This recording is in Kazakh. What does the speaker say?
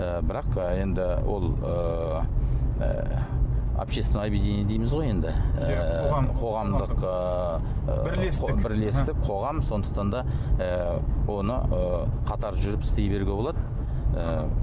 ы бірақ енді ол ыыы общественное объединение дейміз ғой енді ыыы қоғамдық ыыы бірлестік қоғам сондықтан да ы оны ы қатар жүріп істей беруге болады ыыы